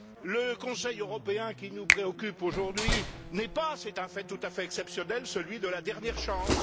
Le Conseil européen qui nous préoccupe aujourd'hui n'est pas, c'est un fait tout à fait exceptionnel, celui de la dernière chance.